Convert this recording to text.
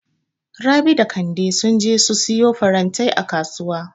Rabi da Kande sun je su siyo farantai a Kasuwa.